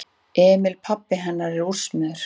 Emil pabbi hennar er úrsmiður.